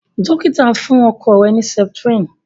dókítà fún ọkọ rẹ ni septrin